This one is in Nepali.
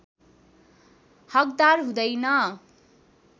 हकदार हुँदैन